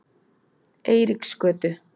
Eiríksgötu